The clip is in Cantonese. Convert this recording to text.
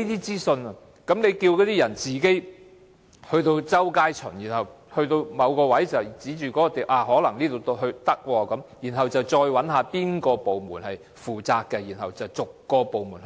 政府只叫市民自己在街上周圍巡看，當看到某個可能適合的位置後，又要找出是哪個部門負責，再逐個部門